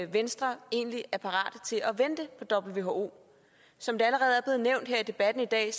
venstre egentlig er parate til at vente på who som det allerede er blevet nævnt her i debatten i dag